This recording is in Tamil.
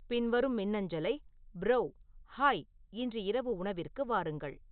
பின்வரும் மின்னஞ்சலை ப்ரோ ஹாய் இன்று இரவு உணவிற்கு வாருங்கள்